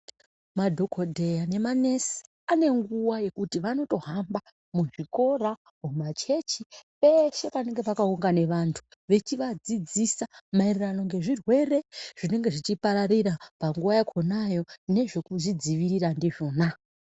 Madhokodheya nemanesi and nguwa yekuti vanotohamba muzvikora, mumachechi, peshe panenge pakaungane vantu veichivadzidzisa mayererano nezvirwere zvinenge zvichipararira panguva yakonayo nezvekuzvidzivirira ndizvona.